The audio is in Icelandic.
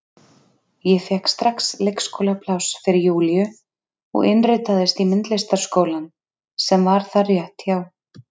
Ég fékk strax leikskólapláss fyrir Júlíu og innritaðist í myndlistarskólann sem var þar rétt hjá.